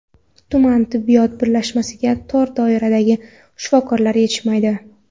Tuman tibbiyot birlashmasiga tor doiradagi shifokorlar yetishmaydi.